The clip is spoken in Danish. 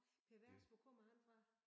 Per Vers hvor kommer han fra?